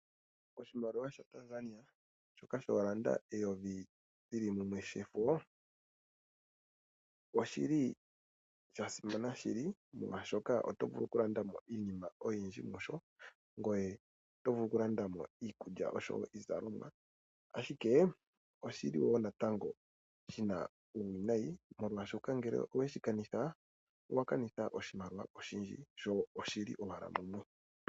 Oshimaliwa shaTanzania shoka shooshilinga eyovi li li mumwe shefo, osha simana shili, molwashoka oto vulu okulanda mo iinima oyindji mu sho, ngoye oto vulu okulanda mo iikulya nenge iizalomwa, ashike oshi na uuwinayi molwashoka uuna we shi kanitha owa kanitha oshimaliwa oshindji sho oshi li mumwe.